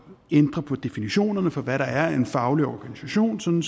ændre på definitionerne for hvad der er en faglig organisation sådan